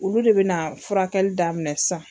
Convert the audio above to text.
Olu de bɛna furakɛli daminɛ sisan.